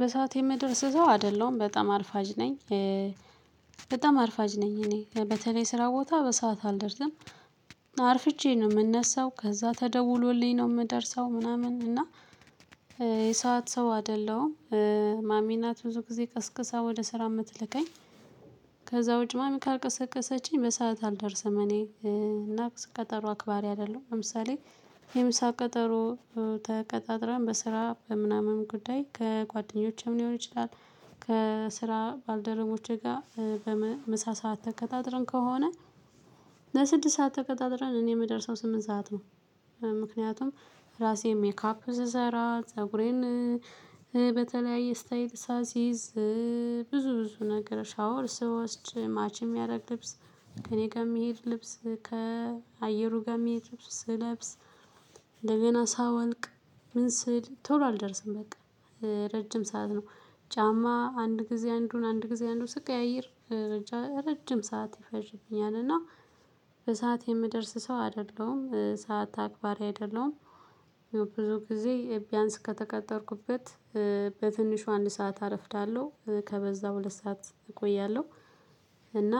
በሰአት የምደርስ ሰው አይደለሁም በጣም አርፋጅ ነኝ። በጣም አርፋጅ ነኝ እኔ በተለይ ስራ ቦታ በሰአት አልደርስም። አርፍጄ ነው የምነሳው ከዛ ተደውሎልኝ ነው የምደርሰው ምናምን እና የሰዓት ሰው አይደለም። ማሚ ናት ብዙ ጊዜ ቀስቀሳ ወደ ስራ የምትልከኝ። ከዛ ውጪ ማሚ ካልቀሰቀሰችኝ በሰአት አልደርስም እኔ እና ቀጠሮ አክባሪ አይደለሁም። ለምሳሌ የምሳ ቀጠሮ ተቀጣጥራን በስራ በምናምን ጉዳይ ከጓደኞቼም ሊሆን ይችላል። ከስራ ባልደረቦቼ ጋር በምሳ ሰዓት ተቀጣጥረን ከሆነ። ለስድስት ሰዓት ተቀጣጥረን እኔ የምደርሰው ስምንት ሰዓት ነው። ምክንያቱም ራሴን ሜካፕ ስሰራ ፀጉሬን በተለያየ ስታይል ሳሲዝ ብዙ ብዙ ነገር ሻወር ስወስድ ማች የሚያደርግ ልብስ ከእኔ ጋር የሚሄድ ልብስ ከአየሩ ጋር የሚሄድ ልብስ ስለብስ። እንደገና ሳወልቅ ምን ስል ቶሎ አልደርስም በቃ። ረጅም ሰዓት ነው። ጫማ አንድ ጊዜ አንዱን አንድ ጊዜ አንዱን ስቀያይር ብቻ ረጅም ሰዓት ይፈጅብኛል እና። በሰአት የምደርስ ሰው አይደለሁም ሰዓት አክባሪ አይደለሁም። ብዙ ጊዜ ቢያንስ ከተቀጠርኩበት በትንሹ አንድ ሰዓት አረፍዳለሁ ከበዛ ሁለት ሰዓት እቆያለሁ። እና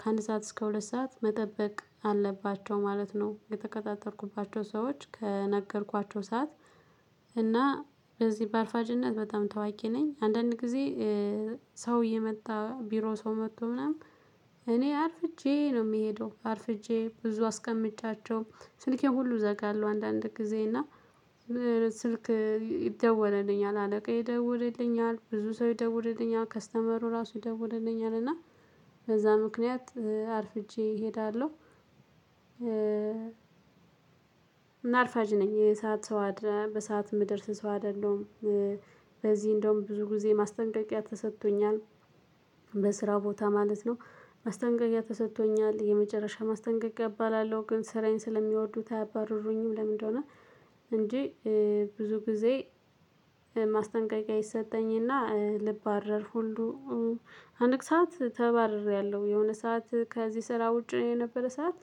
ከአንድ ሰዓት እስከ ሁለት ሰዓት መጠበቅ አለባቸው ማለት ነው የተቀጣጠርኩባቸው ሰዎች ከነገርኳቸው ሰዓት። እና በዚህ በአርፋጅነት በጣም ታዋቂ ነኝ አንዳንድ ጊዜ። ሰው እየመጣ ቢሮ ሰው መጥቶ ምናምን እኔ አርፍጄ ነው የሚሄደው አርፍጄ ብዙ አስቀምጫቸው ስልኬን ሁሉ እዘጋለሁ። አንዳንድ ጊዜ እና ስልክ ይደወለልኛል አለቃዬ ይደውልልኛል ብዙ ሰው ይደውልልኛል ከስተመሩ ራሱ ይደውልልኛል እና በዛ ምክንያት አርፍጄ እሄዳለሁ። እና አርፋጅ ነኝ የሰዓት ሰው አደ በሰአት የምደርስ ሰው አይደለሁም። በዚህ እንደውም ብዙ ጊዜ ማስጠንቀቂያ ተሰጥቶኛል። በስራው ቦታ ማለት ነው። ማስጠንቀቂያ ተሰጥቶኛል የመጨረሻ ማስጠንቀቅ እባላለሁ ግን ስራዬን ስለሚወዱት አያባርሩኝም። ለምንድ እንደሆነ? እንጂ ብዙ ጊዜ። ማስጠንቀቂያ ይሰጠኝ እና ልባረር ሁሉ አንቅ ሰዓት ተባርሬያለሁ። የሆነ ሰዓት ከዚህ ስራ ውጪ የነበረ ሰዓት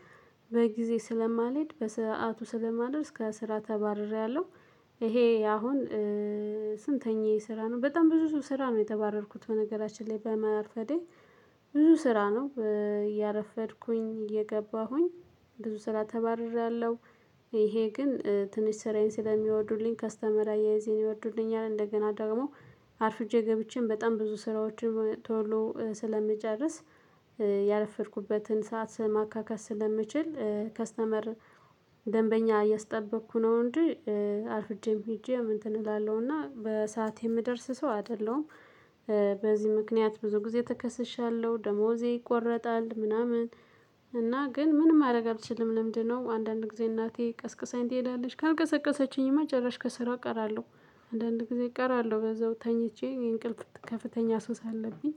በጊዜ ስለማልሄድ በሰአቱ ስለማልደርስ ከስራ ተባርሬያለሁ። ይሄ አሁን ስንተኛዬ ስራ ነው በጣም ብዙ ሰው ስራ ነው የተባረርኩት። በነገራችን ላይ በማርፈዴ ብዙ ስራ ነው እያረፈድኩኝ እየገባሁኝ ብዙ ስራ ተባርሬያለሁ። ይሄ ግን ትንሽ ስራዬን ስለሚወዱልኝ ከስተመር አያያዜን ይወዱልኛል እንደገና ደግሞ አርፍጄ ገብቼም በጣም ብዙ ስራዎችን ቶሎ ስለምጨርስ። ያረፈድኩበትን ሰዓት ማካካስ ስለምችል ከስተመር እያስጠበቅኩ ነው እንጂ። አርፍጄም ሄጄ እንትን እላለሁ እና በሰአቴ የምደርስ ሰው አይደለሁም። በዚህ ምክንያት ብዙ ጊዜ ተከስሻለሁ ደሞዜ ይቆረጣል ምናምን። እና ግን ምንም ማድረግ አትችልም ልምድ ነው። አንዳንድ ጊዜ እናቴ ቀስቅሳኝ ትሄዳለች ካልቀሰቀሰችኝማ ጭራሽ ከስራ እቀራለሁ። አንዳንድ ጊዜ እቀራለሁ በዛው ተኝቼ እንቅልፍ ከፍተኛ ሱስ አለብኝ።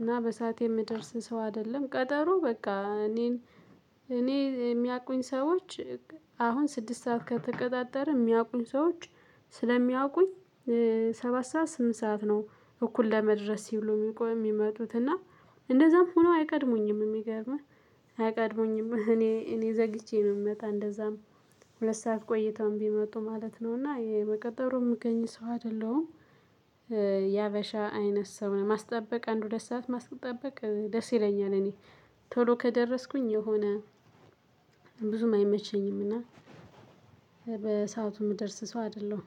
እና በሰአት የምደርስ ሰው አይደለም ቀጠሮ በቃ እኔን እኔ የሚያውቁኝ ሰዎች አሁን ስድስት ሰዓት ከተቀጣጠርን የሚያውቁኝ ሰዎች ስለሚያውቁኝ ሰባት ሰዓት ስምንት ሰዓት ነው። እኩል ለመድረስ ሲሉ የሚቆ የሚመጡት እና እንደዛም ሆኖ አይቀድሙኝም የሚገርምህ አይቀድሙኝም እኔ እኔ ዘግይቼ ነው የምመጣ እንደዛም። ሁለት ሰዓት ቆይተውም ቢመጡ ማለት ነው እና በቀጠሮ የምገኝ ሰው አይደለሁም። የሀበሻ አይነት ሰው ማስጠበቅ አንድ ሁለት ሰዓት ማስጠበቅ ደስ ይለኛል እኔ። ቶሎ ከደረስኩኝ የሆነ ብዙምአይመቸኝም እና በሰኦቱ የምደርስ ሰው አይደለሁም